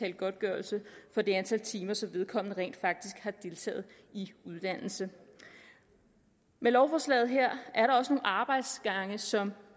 en godtgørelse for det antal timer som vedkommende rent faktisk har deltaget i uddannelse med lovforslaget her er der også nogle arbejdsgange som